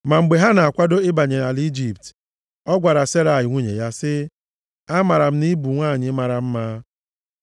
Ma mgbe ha na-akwado ịbanye ala Ijipt, ọ gwara Serai nwunye ya sị, “Amaara m na ị bụ nwanyị mara mma.